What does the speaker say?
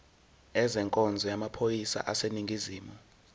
ezenkonzo yamaphoyisa aseningizimu